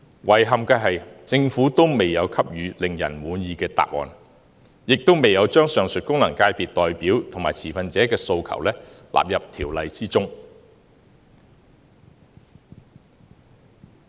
遺憾的是，政府未有給予令人滿意的答案，亦未有將上述功能界別代表及持份者的訴求納入《條例草案》。